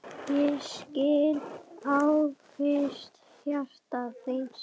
Ég skil angist hjarta þíns